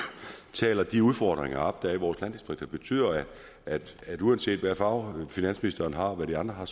taler de udfordringer op der er i vores landdistrikter betyder at at uanset hvilken farve finansministeren og de andre har